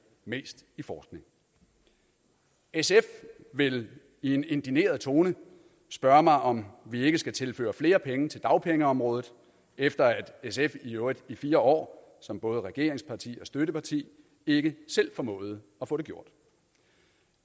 mest i forskning sf vil i en indigneret tone spørge mig om vi ikke skal tilføre flere penge til dagpengeområdet efter at sf i øvrigt i fire år som både regeringsparti og støtteparti ikke selv formåede at få det gjort